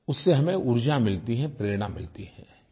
उससे हमें ऊर्जा मिलती है प्रेरणा मिलती है